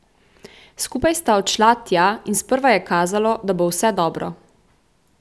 Skupaj sta odšla tja in sprva je kazalo, da bo vse dobro.